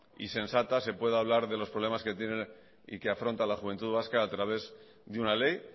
y sensata se pueda hablar de los problemas que tienen y que afronta la juventud vasca a través de una ley